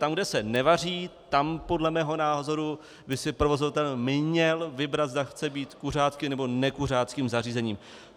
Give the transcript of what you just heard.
Tam, kde se nevaří, tam podle mého názoru by si provozovatel měl vybrat, zda chce být kuřáckým, nebo nekuřáckým zařízením.